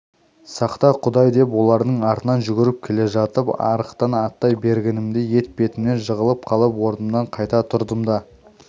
сақта құдай деп олардың артынан жүгіріп келе жатып арықтан аттай бергенімде етпетімнен жығылып қалып орнымнан қайта тұрдым да